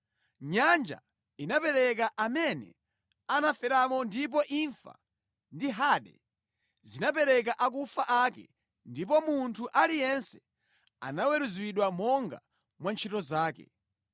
Nyanja inapereka amene anaferamo ndipo imfa ndi Hade zinapereka akufa ake ndipo munthu aliyense anaweruzidwa monga mwa ntchito zake.